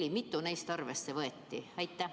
Kui mitu neist arvesse võeti?